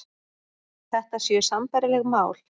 Þetta séu sambærileg mál